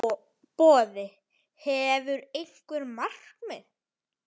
Boði: Hefurðu einhver markmið?